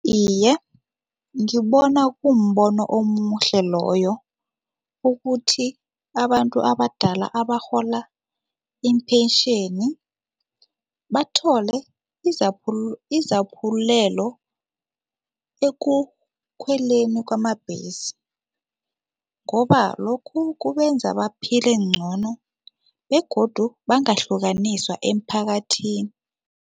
Iye, ngibona kumbono omuhle loyo ukuthi abantu abadala abarhola impentjheni bathole izaphulelo ekukhweleni kwamabhesi ngoba lokhu kubenza baphile ngcono begodu bangahlukaniswa emphakathini.